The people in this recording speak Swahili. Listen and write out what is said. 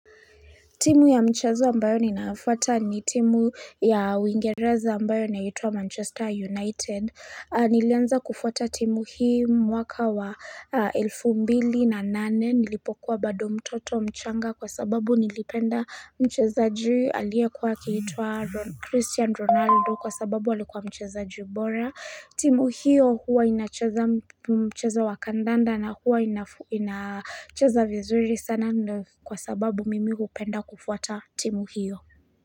Timu ya mchezo ambayo ninayofuata ni timu ya uingereza ambayo inaitwa Manchester United, nilianza kufuata timu hii mwaka wa elfu mbili na nane nilipokuwa bado mtoto mchanga kwa sababu nilipenda mchezaji aliyekuwa akiitwa ro Christian Ronaldo kwa sababu alikuwa mchezaji bora. Timu hiyo huwa inacheza mchezo wa kandanda na huwa inacheza vizuri sana kwa sababu mimi hupenda kufuata timu hiyo.